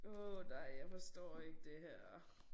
Åh nej jeg forstår ikke det her